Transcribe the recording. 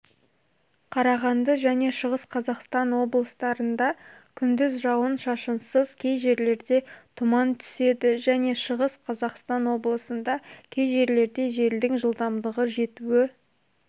қарағанды және шығыс қазақстан облыстарында күндіз жауын-шашынсыз кей жерлерде тұман түседі және шығыс қазақстан облысында кей жерлерде желдің жылдамдығы жетуі